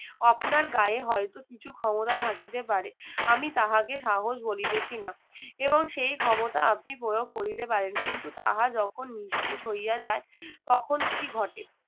আপনার গায়ে হয়তো কিছু ক্ষমতা থাকিতে পারে আমি তাহাকে সাহস বলিতেছি না এবং সেই ক্ষমতা আপনি প্রয়োগ করতে পারেন কিন্তু তাহা যখন নিঃশেষ হইয়া যায় তখন কি ঘটে